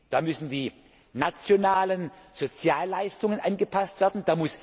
können. Da müssen die nationalen Sozialleistungen angepasst